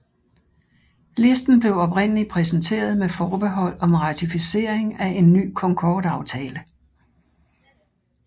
Listen blev oprindelig præsenteret med forbehold om ratificering af en ny Concordeaftale